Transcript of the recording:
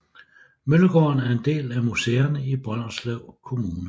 Møllegården er en del af Museerne i Brønderslev Kommune